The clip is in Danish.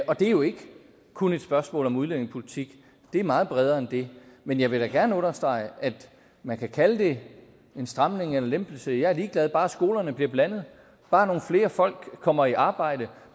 og det er jo ikke kun et spørgsmål om udlændingepolitik det er meget bredere end det men jeg vil da gerne understrege at man kan kalde det en stramning eller en lempelse jeg er ligeglad bare skolerne bliver blandet bare nogle flere folk kommer i arbejde